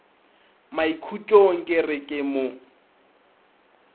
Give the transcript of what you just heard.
maikhutšong ke re ke mo